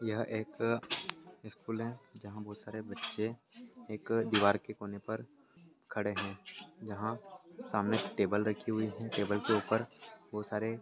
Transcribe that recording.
यह एक स्कूल है जहाँ बहुत सारे बच्चे एक दीवार के कोने पर खड़े है जहाँ सामने टेबल रखी हुई है टबल के ऊपर बहुत सारे --